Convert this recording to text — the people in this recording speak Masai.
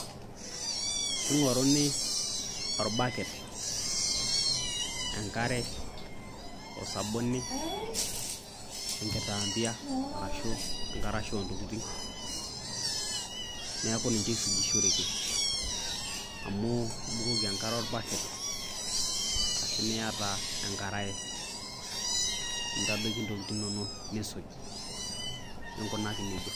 King'oruni olbaket, enkare, osabuni, enkitambaa arashu enkarasha o ntokitin, neeku ninje isujishereki amu ibukoki enkare orbaket ashu niyata enkarae nintadoiki ntokitin inonok nisuj, ninkunaki neija.